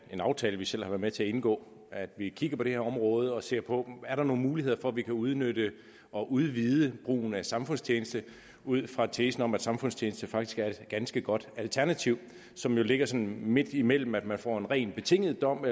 aftale vi selv har været med til at indgå at vi kigger på det her område og ser på om der er nogle muligheder for at vi kan udnytte og udvide brugen af samfundstjeneste ud fra tesen om at samfundstjeneste faktisk er et ganske godt alternativ som jo ligger sådan midtimellem det at man får en ren betinget dom